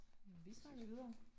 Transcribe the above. Jamen vi snakker videre